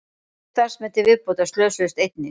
Tveir starfsmenn til viðbótar slösuðust einnig